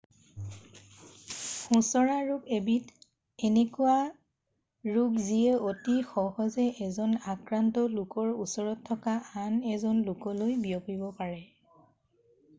সোঁচৰা ৰোগ হ'ল এবিধ এনেকুৱা ৰোগ যিয়ে অতি সহজে এজন আক্ৰান্ত লোকৰ ওচৰত থকা আন এজন লোকলৈ বিয়পিব পাৰে